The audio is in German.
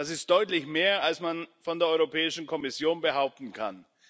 Das ist deutlich mehr, als man von der Europäischen Kommission behaupten kann.